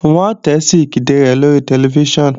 Wọ́n ti ṣe ìkéde rẹ̀ lórí tẹlifíṣàn